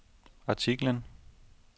artiklen